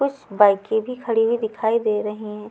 कुछ बाईकें भी खड़ी हुई दिखाई दे रहे हैं।